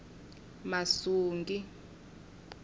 masungi